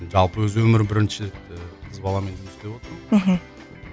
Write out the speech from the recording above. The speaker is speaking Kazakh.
жалпы өзі өмірі бірінші рет ііі қыз баламен жұмыс істеп отырмын мхм